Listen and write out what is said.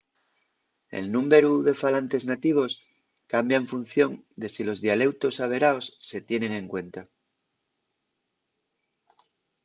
el númberu de falantes nativos cambia en función de si los dialeutos averaos se tienen en cuenta